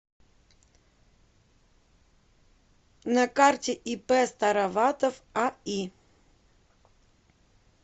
на карте ип староватов аи